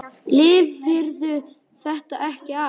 Lifirðu þetta ekki af?